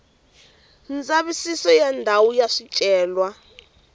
ndzavisiso wa ndhawu ya swicelwa